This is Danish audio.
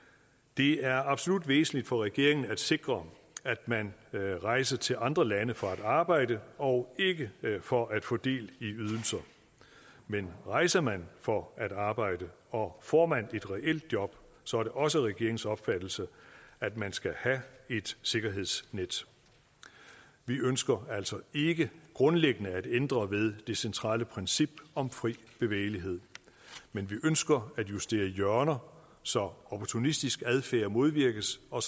det er absolut væsentligt for regeringen at sikre at man rejser til andre lande for at arbejde og ikke for at få del i ydelser men rejser man for at arbejde og får man et reelt job så er det også regeringens opfattelse at man skal have et sikkerhedsnet vi ønsker altså ikke grundlæggende at ændre ved det centrale princip om fri bevægelighed men vi ønsker at justere hjørner så opportunistisk adfærd modvirkes og